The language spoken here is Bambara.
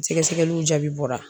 Sɛgɛsɛgɛliw jaabi bɔra.